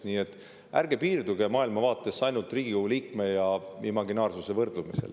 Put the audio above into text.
Nii et ärge piirduge oma maailmavaates ainult Riigikogu liikme ja imaginaarsuse võrdlemisega.